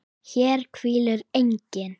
HÉR HVÍLIR ENGINN